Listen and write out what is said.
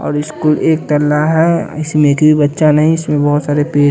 और इसको एक कला है इसमें एक भी बच्चा नहीं इसमें बहुत सारे पेर--